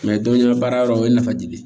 baara yɔrɔ o ye nafaji ye